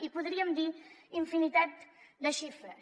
i en podríem dir infinitat de xifres